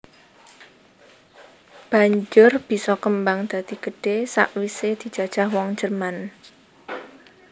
Banjur bisa kembang dadi gedhé sawisé dijajah wong Jerman